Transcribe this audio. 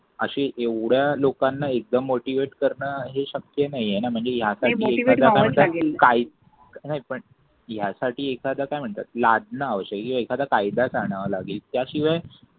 अशी एवढ्या लोकांना एकदम मोटीवेट करणं हे शक्य नाहीये ना म्हणजे या नाही पण यासाठी एखाद काय म्हणतात लादण आव्यशेक आहे हे एकाध कायदा च आण्व लागेल त्या शिवाय